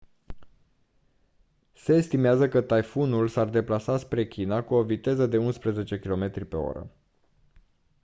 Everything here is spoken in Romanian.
se estimează că taifunul s-ar deplasa spre china cu o viteză de unsprezece km/h